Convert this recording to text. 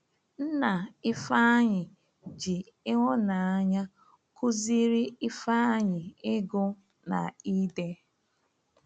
Nna Ifeanyi ji ịhụnanya kụziri Ifeanyi ịgụ na ide.